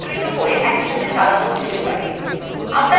যেগুলির প্রত্যেকটির অনেকগুলি অপশন আছে